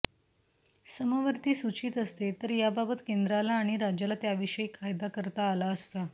समवर्ती सूचीत असते तर याबाबत केंद्राला आणि राज्याला त्याविषयी कायदा करता आला असता